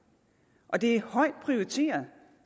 og det er højt prioriteret